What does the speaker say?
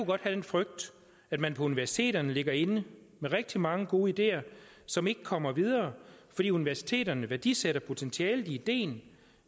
godt have den frygt at man på universiteterne ligger inde med rigtig mange gode ideer som ikke kommer videre fordi universiteterne værdisætter potentialet i ideen